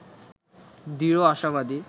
দৃঢ় আশাবাদী